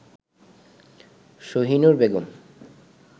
Shahinur Begum